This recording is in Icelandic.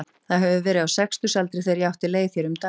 Það hefur verið á sextugsaldri þegar ég átti leið hér um daglega.